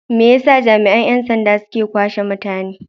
Me yasa jami'an 'yan sanda suke kwashe mutanen?